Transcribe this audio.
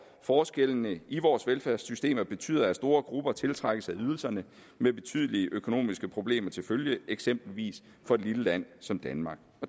forskellene i vores velfærdssystemer betyder at store grupper tiltrækkes af ydelserne med betydelige økonomiske problemer til følge eksempelvis for et lille land som danmark